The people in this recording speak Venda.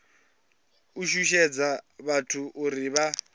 u shushedza vhathu uri vha